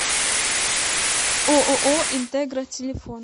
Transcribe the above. ооо интегра телефон